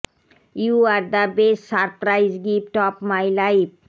you are the best surprise gift of my life